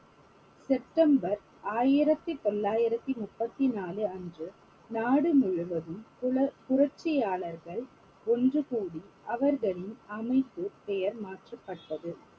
September ஆயிரத்தி தொள்ளாயிரத்தி முப்பத்தி நாலு அன்று நாடு முழுவதும் புல~ புரட்சியாளர்கள் ஒன்று கூடி அவர்களின் அமைப்பு பெயர் மாற்றப்பட்டது